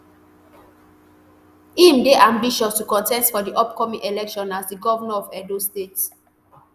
im dey ambitious to contest for di upcoming election as di govnor of edo state